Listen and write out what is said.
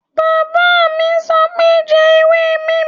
Bàbá mi sọ pé "jẹ ewé neem"